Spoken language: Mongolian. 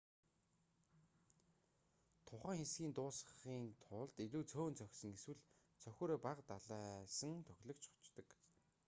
тухайн хэсгийг дуусгахын тулд илүү цөөн цохисон эсвэл цохиураа бага далайсан тоглогч хождог